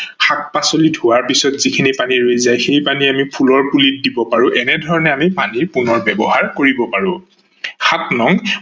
শাক-পাচলি ধোৱাৰ পাছত যিখিনি পানী ৰৈ যায় সেই পানী আমি ফুলৰ পুলিত দিব পাৰো এনেধৰনে আমি পানীৰ পুণৰ ব্যৱহাৰ কৰিব পাৰো। সাত নং